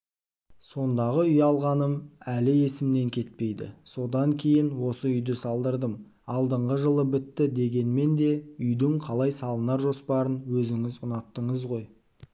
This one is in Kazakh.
сондағы ұялғаным әлі есімнен кетпейді содан кейін осы үйді салдырдым алдыңғы жылы бітті дегенмен де үйдің қалай салынар жоспарын өзіңіз ұнаттыңыз ғой